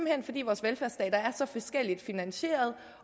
hen fordi vores velfærdsstater er så forskelligt finansieret